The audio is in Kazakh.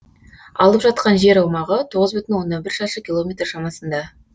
алып жатқан жер аумағы тоғыз бүтін аннан бір шаршы километр шамасында